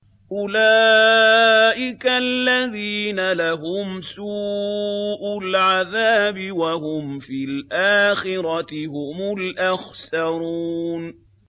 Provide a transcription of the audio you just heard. أُولَٰئِكَ الَّذِينَ لَهُمْ سُوءُ الْعَذَابِ وَهُمْ فِي الْآخِرَةِ هُمُ الْأَخْسَرُونَ